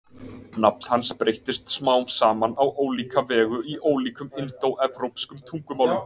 Nafn hans breyttist smám saman á ólíka vegu í ólíkum indóevrópskum tungumálum.